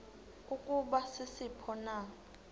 ukuba sisiphi na